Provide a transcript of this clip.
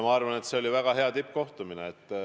Ma arvan, et see oli väga hea tippkohtumine.